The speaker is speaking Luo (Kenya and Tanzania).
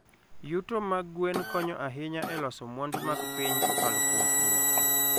Yuto mag gwen konyo ahinya e loso mwandu mag piny kokalo kuom pur.